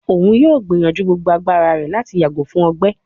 Oun yoo gbiyanju gbogbo agbara rẹ lati yago fun ọgbẹ